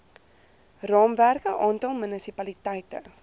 raamwerke aantal munisipaliteite